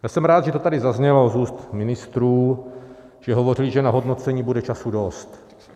Já jsem rád, že to tady zaznělo z úst ministrů, že hovořili, že na hodnocení bude času dost.